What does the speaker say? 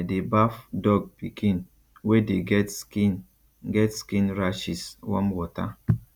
i dey baff dog pikin wey dey get skin get skin rashes warm water